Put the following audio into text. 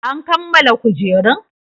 An kammala kujerun?